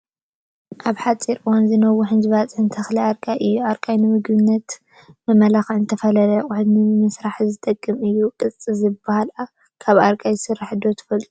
ካብ ብሓፂር እዋን ዝነውሑን ዝባፅሑን ተኽልታት ኣርቃይ እዩ፡፡ ኣርቃይ ንቤት ምግብታት መመላኽዕን ዝተፈላለዩ ኣቑሑት ነምስራሕን ዝጠቅም እዩ፡፡ ቅፃ ዝባሃል ካብ ኣርቃይ ዝስራሕ ዶ ትፈልጥዎ?